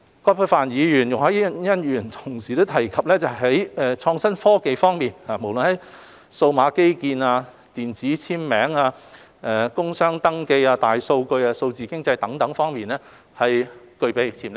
葛珮帆議員和容海恩議員同時提及於創新科技方面，不論是數碼基建、電子簽名、工商登記、大數據和數字經濟等方面都具備潛力。